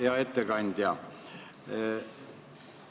Hea ettekandja!